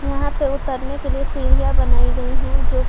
यहां पे उतरने के लिए सीढ़ियां बनाई गई है जो--